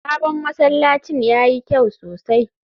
sabon masallacin yayi kyau sosai